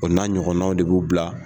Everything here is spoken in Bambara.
O n'a ɲɔgɔnnaw de b'u bila